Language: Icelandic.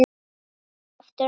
Aftur, og aftur, og aftur.